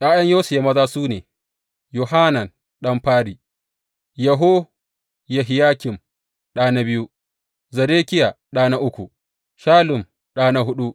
’Ya’yan Yosiya maza su ne, Yohanan ɗan fari, Yehohiyakim ɗa na biyu, Zedekiya ɗa na uku Shallum ɗa na huɗu.